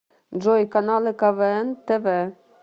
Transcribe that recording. джой каналы квн тв